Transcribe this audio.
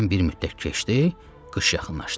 Aradan bir müddət keçdi, qış yaxınlaşdı.